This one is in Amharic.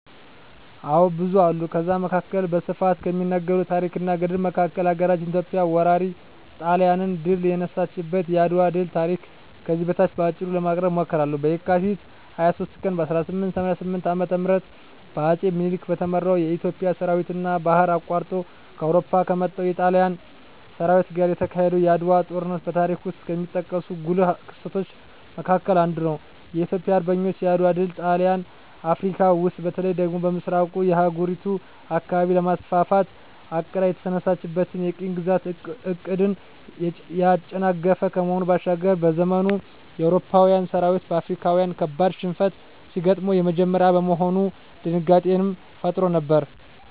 አዎ ብዙ አሉ ከዛ መካከል በስፋት ከሚነገረው ታረክ እና ገድል መካከል ሀገራችን ኢትዮጵያ ወራሪ ጣሊያንን ድል የነሳችበት የአድዋ ድል ታሪክ ከዚህ በታች በአጭሩ ለማቅረብ እሞክራለሁ፦ በካቲት 23 ቀን 1888 ዓ.ም በአጼ ምኒልክ በተመራው የኢትዮጵያ ሠራዊትና ባህር አቋርጦ ከአውሮፓ ከመጣው የጣሊያን ሠራዊት ጋር የተካሄደው የዓድዋው ጦርነት በታሪክ ውስጥ ከሚጠቀሱ ጉልህ ክስተቶች መካከል አንዱ ነው። የኢትዮጵያ አርበኞች የዓድዋ ድል ጣሊያን አፍረካ ውስጥ በተለይ ደግሞ በምሥራቁ የአህጉሪቱ አካባቢ ለማስፋፋት አቅዳ የተነሳችለትን የቅኝ ግዛት ዕቅድን ያጨናገፈ ከመሆኑ ባሻገር፤ በዘመኑ የአውሮፓዊያን ሠራዊት በአፍሪካዊያን ካበድ ሽንፈት ሲገጥመው የመጀመሪያ በመሆኑ ድንጋጤንም ፈጥሮ ነበር።